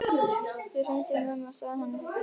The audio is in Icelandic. Ég hringdi í mömmu og sagði henni þetta líka.